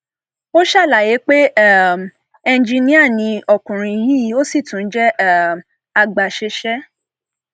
ó ṣàlàyé pé um eníjìnnìá ni ọkùnrin yìí ó sì tún jẹ um agbaṣẹṣe